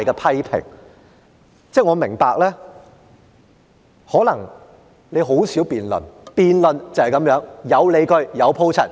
我明白主席你可能很少辯論，辯論就是這樣，有理據、有鋪陳。